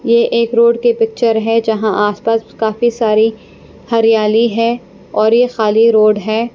ये एक रोड की पिक्चर है जहाँ आसपास काफी सारी हरियाली है और यह खाली रोड है।